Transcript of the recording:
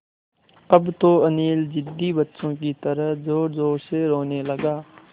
अब तो अनिल ज़िद्दी बच्चों की तरह ज़ोरज़ोर से रोने लगा